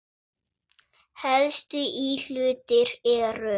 Helstu íhlutir eru